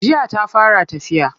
Jiya ta fara tafiya.